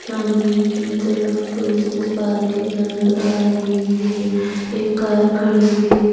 सामने की तरफ पुलिस इस पार्किंग नजर आ रही है एक कार खड़ी है।